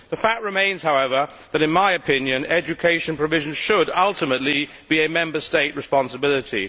The fact remains, however, that education provisions should ultimately be a Member State responsibility.